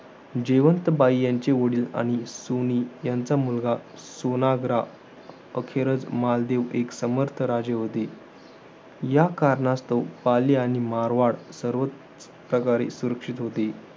जयवंत बाई यांचे वडील आणि सुनी यांचा मुलगा, सोनाग्रा अखेरच मालदेव एक समर्थ राजे होते. या कारणास्तव पाली आणि मारवाड सर्वच प्रकारे सुरक्षित होते.